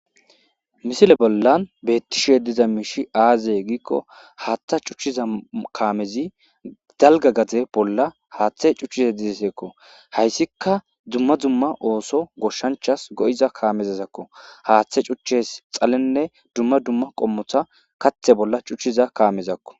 Misile bollan bettishe diza miishi aaze giikko haaththa cuchchiza kaamezi dalga gaze bolla haaththe cuchiza dizeseekko hayssika dzumma dumma ooso goshshanchas go7iza kaamezezakko haaththe cuchches xalenne dumma dumma qommotha kathe bolla cuchchiza kaamezakko.